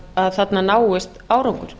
að þarna náist árangur